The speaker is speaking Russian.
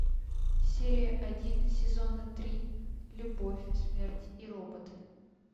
серия один сезона три любовь смерть и роботы